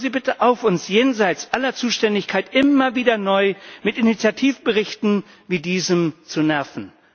Hören Sie bitte auf, uns jenseits aller Zuständigkeit immer wieder neu mit Initiativberichten wie diesem zu nerven!